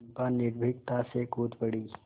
चंपा निर्भीकता से कूद पड़ी